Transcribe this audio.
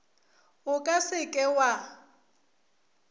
o ka se ke wa